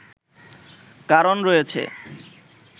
কারণ রয়েছে